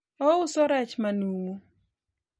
ouso rech manumu